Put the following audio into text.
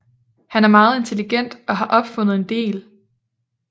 Han er meget intelligent og har opfundet en del